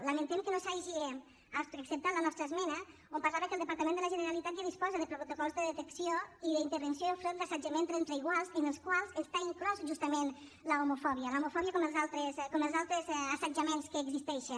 lamentem que no s’hagi acceptat la nostra esmena on parlava que el departament de la generalitat ja disposa de protocols de detecció i d’intervenció enfront d’assetjament entre iguals en els quals està inclosa justament l’homofòbia l’homofòbia com els altres assetjaments que existeixen